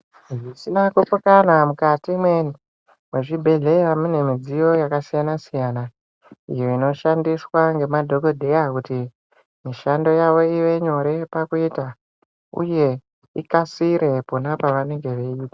Zvisina kupokana mukati imweni mwezvibhehleya munemidziyo yakasiyana siyana inoshandiswa ngemadhokodheya kuti mishando yavo ivenyore pakuita uye ikasire pona pavanenge veiita